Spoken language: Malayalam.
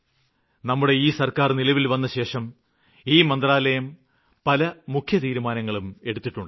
നമ്മുടെ ഈ സര്ക്കാര് നിലവില് വന്നശേഷം ഈ മന്ത്രാലയം പല മുഖ്യ തീരുമാനങ്ങളും എടുത്തിട്ടുണ്ട്